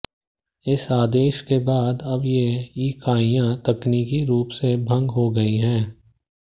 इस आदेश के बाद अब ये इकाइयां तकनीकी रुप से भंग हो गयीं हैं